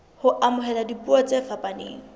ho amohela dipuo tse fapaneng